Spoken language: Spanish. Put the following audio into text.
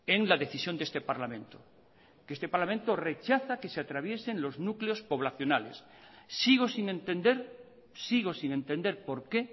en la decisión de este parlamento que este parlamento rechaza que se atraviesen los núcleos poblacionales sigo sin entender sigo sin entender por qué